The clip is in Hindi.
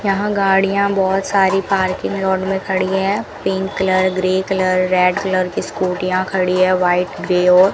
यहां गाडियां बहोत सारी पार्किंग यार्ड में खड़ी है pink colour grey colour red colour की स्कूटीयां खड़ी है व्हाइट ग्रे और --